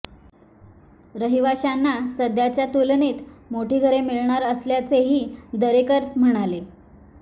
रहिवाशांना सध्याच्या तुलनेत मोठी घरे मिळणार असल्याचेही दरेकर म्हणाले